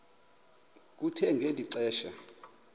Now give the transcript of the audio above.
kuthe ngeli xesha